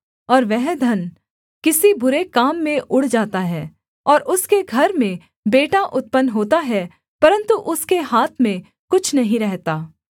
और वह धन किसी बुरे काम में उड़ जाता है और उसके घर में बेटा उत्पन्न होता है परन्तु उसके हाथ में कुछ नहीं रहता